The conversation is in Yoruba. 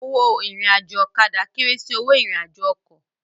Owó irin àjò ọ̀kadà kéré sì owó ìrìn àjò ọkọ̀